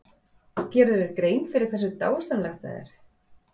Gerirðu þér grein fyrir hversu dásamlegt það er?